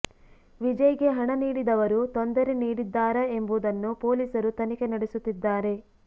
ವಿಜಯ್ಗೆ ಹಣ ನೀಡಿದವರು ತೊಂದರೆ ನೀಡಿದ್ದಾರಾ ಎಂಬುದನ್ನು ಪೊಲೀಸರು ತನಿಖೆ ನಡೆಸುತ್ತಿದ್ದಾರೆ